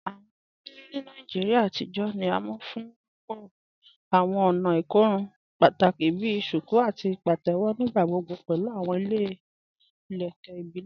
Awọn olórí ni Nàìjíríà àtijọ ni à mú fún wíwọ́ awọn ònà ikòrùn pátákì bí "shuku" àti "pàtẹwo," nígbàgbọ̀gbọ̀ pẹ̀lú awọn ilẹ̀kẹ̀ ìbílẹ̀.